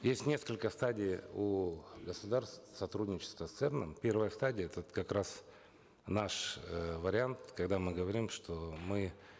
есть несколько стадий у государств сотрудничества с церн ом первая стадия этот как раз наш э вариант когда мы говорим что мы